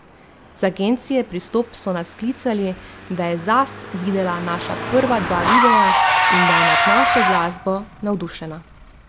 Z agencije Pristop so nas klicali, da je Zaz videla naša prva dva videa in da je nad našo glasbo navdušena.